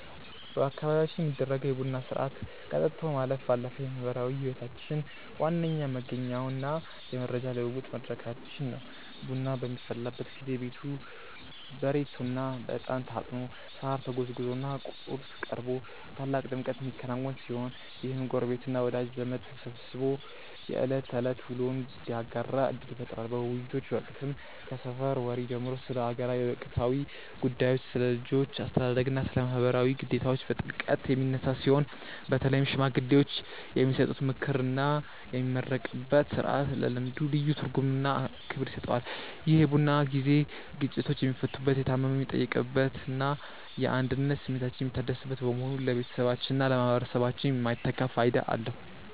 በአካባቢያችን የሚደረገው የቡና ሥርዓት ከጠጥቶ ማለፍ ባለፈ የማኅበራዊ ሕይወታችን ዋነኛ መገኛውና የመረጃ ልውውጥ መድረካችን ነው። ቡናው በሚፈላበት ጊዜ ቤቱ በሬቶና በዕጣን ታጥኖ፣ ሳር ተጎዝጉዞና ቁርስ ቀርቦ በታላቅ ድምቀት የሚከናወን ሲሆን፣ ይህም ጎረቤትና ወዳጅ ዘመድ ተሰባስቦ የዕለት ተዕለት ውሎውን እንዲያጋራ ዕድል ይፈጥራል። በውይይቶች ወቅትም ከሰፈር ወሬ ጀምሮ ስለ አገር ወቅታዊ ጉዳዮች፣ ስለ ልጆች አስተዳደግና ስለ ማኅበራዊ ግዴታዎች በጥልቀት የሚነሳ ሲሆን፣ በተለይም ሽማግሌዎች የሚሰጡት ምክርና የሚመረቅበት ሥርዓት ለልምዱ ልዩ ትርጉምና ክብር ይሰጠዋል። ይህ የቡና ጊዜ ግጭቶች የሚፈቱበት፣ የታመመ የሚጠየቅበትና የአንድነት ስሜታችን የሚታደስበት በመሆኑ ለቤተሰባችንና ለማኅበረሰባችን የማይተካ ፋይዳ አለው።